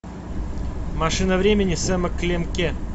машина времени сэма клемке